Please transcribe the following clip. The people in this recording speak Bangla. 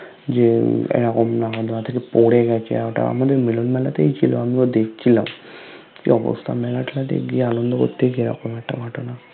যে নাগোরদোলনা থেকে পরে গেছে আর ওটা আমাদের মিলন মেলাতেই ছিলো আমি ও দেখছিলাম কি অবস্থা মেলা তে গিয়ে আনন্দ কোরতে গিয়ে এমন একতা ঘটোৎনা